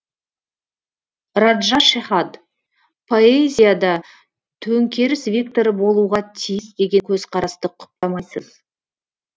раджа шехад поэзия да төңкеріс векторы болуға тиіс деген көзқарасты құптамайсыз